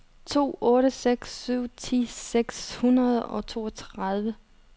to otte seks syv ti seks hundrede og toogtredive